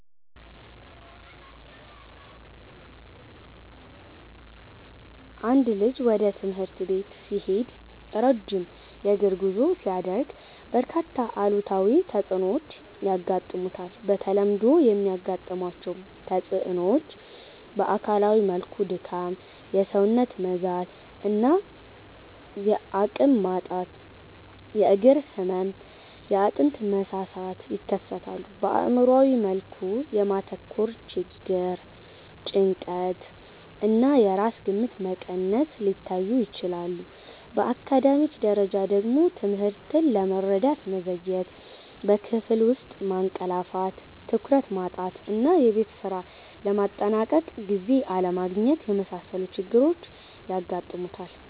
አንድ ልጅ ወደ ትምህርት ቤት ሲሄድ ረጅም የእግር ጉዞ ሲያደርግ፣ በርካታ አሉታዊ ተጽዕኖዎች ያጋጥሙታል። በተለምዶ የሚያጋጥሟቸው ተጽዕኖዎች በአካላዊ መልኩ ድካም፣ የሰውነት መዛል እና አቅም ማጣት፣ የእግር ህመም፣ የአጥንት መሳሳት ይከሰታል። በአእምሯዊ መልኩ የማተኮር ችግር፣ ጭንቀት እና የራስ ግምት መቀነስ ሊታዩ ይችላሉ። በአካዳሚክ ደረጃ ደግሞ ትምህርትን ለመረዳት መዘግየት፣ በክፍል ውስጥ ማንቀላፋት፣ ትኩረት ማጣት እና የቤት ስራ ለማጠናቀቅ ጊዜ አለማግኘት የመሳሰሉ ችግሮች ያጋጥሙታል።